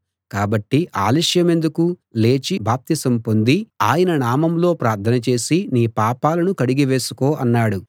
కాబట్టి ఆలస్యమెందుకు లేచి బాప్తిసం పొంది ఆయన నామంలో ప్రార్థన చేసి నీ పాపాలను కడిగి వేసుకో అన్నాడు